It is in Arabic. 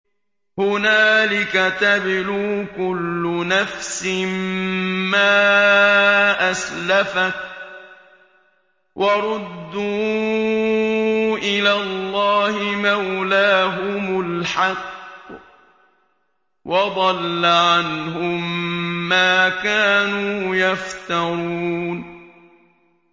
هُنَالِكَ تَبْلُو كُلُّ نَفْسٍ مَّا أَسْلَفَتْ ۚ وَرُدُّوا إِلَى اللَّهِ مَوْلَاهُمُ الْحَقِّ ۖ وَضَلَّ عَنْهُم مَّا كَانُوا يَفْتَرُونَ